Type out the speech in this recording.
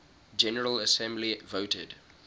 general assembly voted